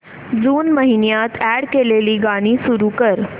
जून महिन्यात अॅड केलेली गाणी सुरू कर